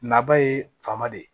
Naba ye fama de